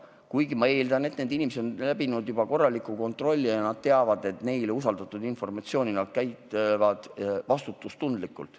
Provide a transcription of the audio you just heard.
Kuid ma eeldan, et need inimesed on läbinud korraliku kontrolli ja nad teavad, et neile usaldatud informatsiooni tuleb käsitseda vastutustundlikult.